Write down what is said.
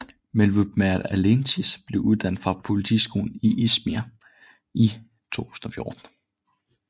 Mevlüt Mert Altıntaş blev uddannet fra politiskolen i İzmir i 2014